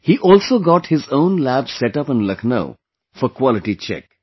He also got his own lab set up in Lucknow for quality check